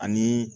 Ani